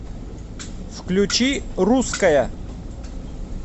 включи русская